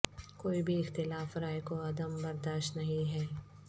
کوئی بھی اختلاف رائے کو عدم برداشت نہیں ہے